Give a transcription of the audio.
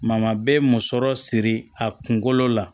bɛ musɔrɔ siri a kunkolo la